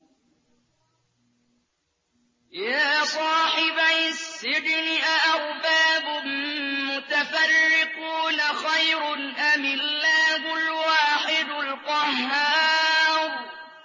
يَا صَاحِبَيِ السِّجْنِ أَأَرْبَابٌ مُّتَفَرِّقُونَ خَيْرٌ أَمِ اللَّهُ الْوَاحِدُ الْقَهَّارُ